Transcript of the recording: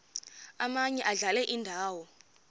omaye adlale indawo